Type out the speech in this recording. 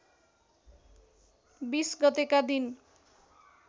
२० गतेका दिन